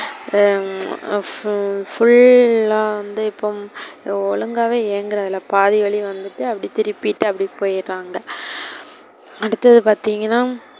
உம் full ஆ இப்போ வந்து ஒழுங்காவே இயங்குறது இல்ல, பாதி வலி வந்துட்டு அப்பிடி திருப்பிட்டு அப்பிடி போய்டுறாங்க. அடுத்தது பார்த்திங்கனா,